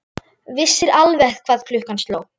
Vissir alveg hvað klukkan sló!